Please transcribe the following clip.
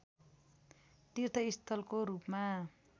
तीर्थ स्थलको रूपमा